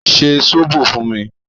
Ṣe sóbò fún mi!